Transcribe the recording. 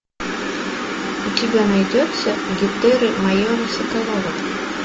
у тебя найдется гетеры майора соколова